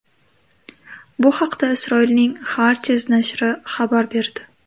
Bu haqda Isroilning Haaretz nashri xabar berdi .